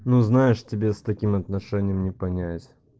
ну знаешь тебе с таким отношением не понять